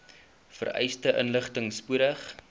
vereiste inligting spoedig